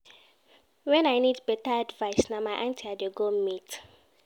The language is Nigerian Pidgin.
Wen I need beta advice, na my aunty I dey go meet.